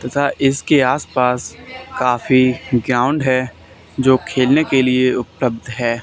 तथा इसके आस पास काफी ग्राउंड है जो खेलने के लिए उपलब्ध है।